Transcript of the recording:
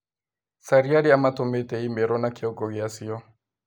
Caria arĩa matũmĩte i-mīrū na kiongo gĩacio